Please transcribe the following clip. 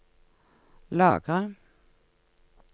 lagre